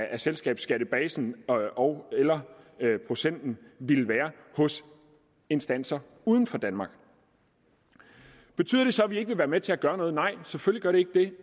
af selskabsskattebasen ogeller procenten ville være hos instanser uden for danmark betyder det så op at vi ikke vil være med til at gøre noget nej selvfølgelig